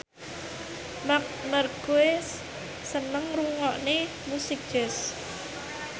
Marc Marquez seneng ngrungokne musik jazz